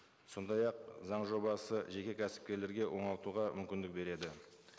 сондай ақ заң жобасы жеке кәсіпкерлерге оңалтуға мүмкіндік береді